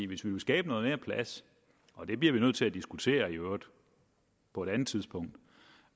hvis vi vil skabe mere plads og det bliver vi nødt til at diskutere på et andet tidspunkt